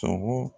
Sogo